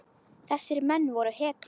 Þessir menn voru hetjur.